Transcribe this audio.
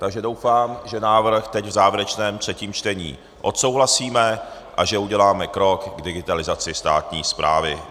Takže doufám, že návrh teď v závěrečném třetím čtení odsouhlasíme a že uděláme krok k digitalizaci státní správy.